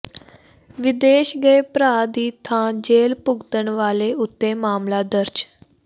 ਵਿਦੇਸ਼ ਗਏ ਭਰਾ ਦੀ ਥਾਂ ਜੇਲ੍ਹ ਭੁਗਤਣ ਵਾਲੇ ਉੱਤੇ ਮਾਮਲਾ ਦਰਜ